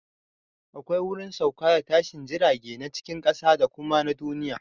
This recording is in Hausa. Akwai wurin sauka da tashin jirage na cikin ƙasa da kuma na duniya